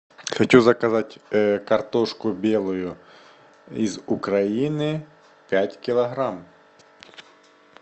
хочу заказать картошку белую из украины пять килограмм